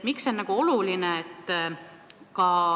Miks see oluline on?